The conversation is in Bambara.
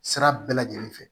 Sira bɛɛ lajɛlen fɛ